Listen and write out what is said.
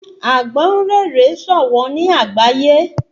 Àgbọ́ǹréré ṣọ̀wọ́n ní àgbáyé